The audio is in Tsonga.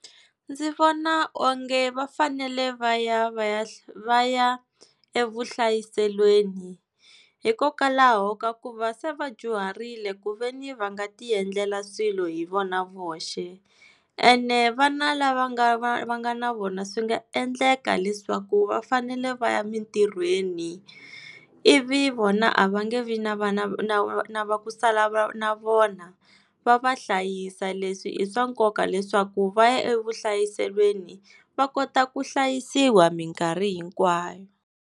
Ndzi vona onge va fanele va ya va ya va ya evuhlayiselweni, hikokwalaho ka ku va se va dyuharile ku veni va nga ti endlela swilo hi vona voxe. Ene vana lava nga va va nga na vona swi nga endleka leswaku va fanele va ya emintirhweni, ivi vona a va nge vi na vana na va ku sala na vona va va hlayisa, leswi i swa nkoka leswaku va ya evuhlayiselweni va kota ku hlayisiwa minkarhi hinkwayo.